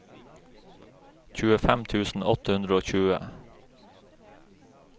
tjuefem tusen åtte hundre og tjue